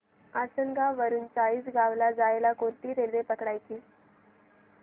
आसनगाव वरून चाळीसगाव ला जायला कोणती रेल्वे पकडायची